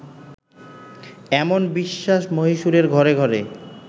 এমন বিশ্বাস মহীশুরের ঘরে ঘরে